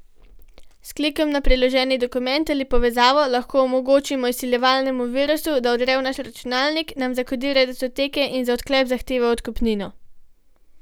S klikom na priloženi dokument ali povezavo lahko omogočimo izsiljevalskemu virusu, da vdre v naš računalnik, nam zakodira datoteke in za odklep zahteva odkupnino.